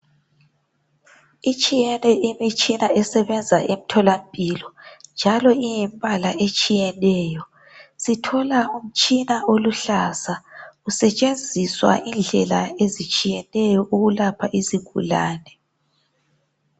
Itshiyene imitshina esebenza emtholampilo njalo ingumpala otshiyeneyo. Sithola umtshina oluhlaza usetshenziswa indlela ezitshiyeneyo ukulapha izigulane.